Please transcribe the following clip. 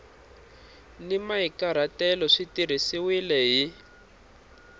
ni mahikahatelo swi tirhisiwile hi